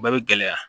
O bɛɛ bɛ gɛlɛya